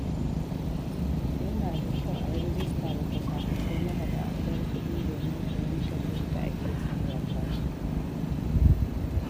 Yana da kyau a yi rajista da kwasa-kwasai na hada-hadar kuɗi domin fahimtar yadda ake sarrafa su.